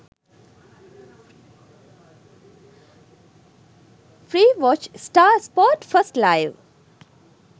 free watch star sport 1live